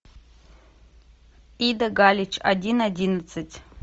ида галич один одиннадцать